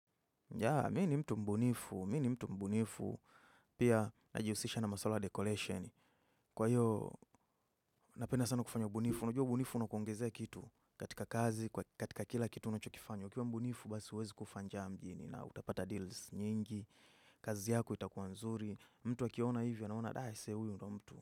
Ya, mimi ni mtu mbunifu, mimi ni mtu mbunifu. Pia, najihusisha na masuala ya decoration. Kwa hivyo, napenda sana kufanya ubunifu. Unajua ubunifu unakuongezea kitu katika kazi, katika kila kitu unachokifanya. Ukiwa mbunifu basi huwezi kufa njaa mjini na utapata deals nyingi, kazi yako itakuwa nzuri, mtu akiona hivyo anaona huyu ndiyo mtu.